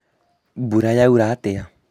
mbura yaura atĩa?